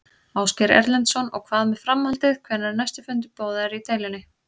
Ásgeir Erlendsson: Og hvað með framhaldið, hvenær er næsti fundur boðaður í deilunni?